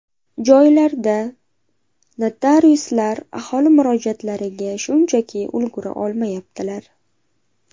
Joylarda notariuslar aholi murojaatlariga shunchaki ulgura olmayaptilar.